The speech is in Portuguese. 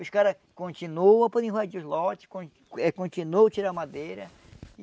Os caras continuam por invadir os lotes, con eh continuam a tirar madeira,